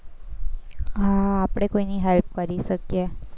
હમ આપણે કોઈની help કરી શકીએ.